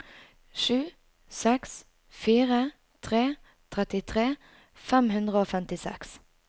sju seks fire tre trettitre fem hundre og femtiseks